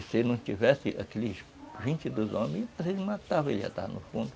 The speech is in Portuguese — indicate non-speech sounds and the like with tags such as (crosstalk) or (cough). Se ele não tivesse aqueles vinte e dois homens, (unintelligible) matava, ele ia estava no fundo.